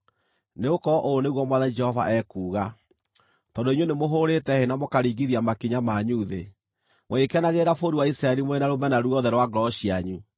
Nĩgũkorwo ũũ nĩguo Mwathani Jehova ekuuga: Tondũ inyuĩ nĩmũhũũrĩte hĩ na mũkaringithia makinya manyu thĩ, mũgĩkenagĩrĩra bũrũri wa Isiraeli mũrĩ na rũmena ruothe rwa ngoro cianyu,